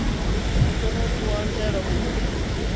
ḽu tona ku anzela u